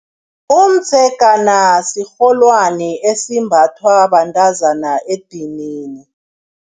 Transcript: Umdzegana sirholwani esimbathwa bantazana edinini.